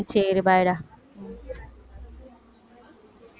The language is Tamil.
சரி bye டா